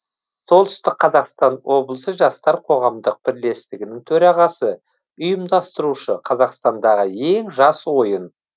солүстік қазақстан облысы жастар қоғамдық бірлестігінің төрағасы ұйымдастырушы қазақстандағы ең жас ойын